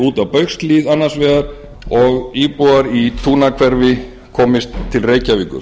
út á baugshlíð annars vegar og íbúar í tungnahverfi komist til reykjavíkur